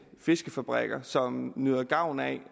fiskefabrikker som nyder gavn af